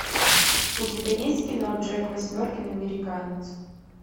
у тебя есть кино джек восьмеркин американец